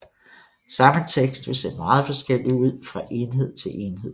Samme tekst vil se meget forskellig ud fra enhed til enhed